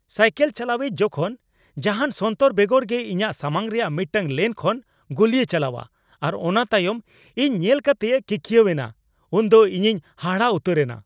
Cycle ᱪᱟᱞᱟᱣᱤᱡ ᱡᱚᱠᱷᱚᱱ ᱡᱟᱦᱟᱱ ᱥᱚᱱᱛᱚᱨ ᱵᱮᱜᱚᱨ ᱜᱮ ᱤᱧᱟᱹᱜ ᱥᱟᱢᱟᱝ ᱨᱮᱭᱟᱜ ᱢᱤᱫᱴᱟᱝ ᱞᱮᱱ ᱠᱷᱚᱱ ᱜᱩᱞᱤᱭ ᱪᱟᱞᱟᱣᱟ ᱟᱨ ᱚᱱᱟ ᱛᱟᱭᱚᱢ ᱤᱧ ᱧᱮᱞ ᱠᱟᱛᱮᱭ ᱠᱤᱠᱤᱭᱟᱹᱣ ᱮᱱᱟ ᱩᱱᱫᱚ ᱤᱧᱤᱧ ᱦᱟᱦᱟᱲᱟᱜ ᱩᱛᱟᱹᱨ ᱮᱱᱟ ᱾